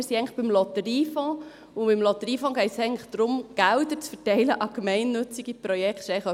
Wir sind eigentlich beim Lotteriefonds, und beim Lotteriefonds geht es eigentlich darum, Gelder an gemeinnützige Projekte zu verteilen.